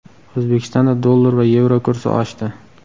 O‘zbekistonda dollar va yevro kursi oshdi.